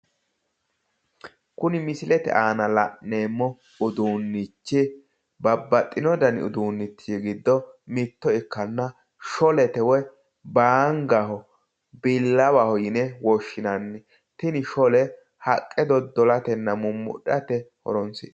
Kuni misilete aana la'neemmo uduunichi babbaxino uduunichi giddo mitto ikkanna baangaho sholete yineemmo tini shole haqqe doddo'latenna mumudhate horonsi'nannite